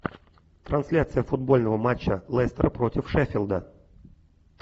трансляция футбольного матча лестер против шеффилда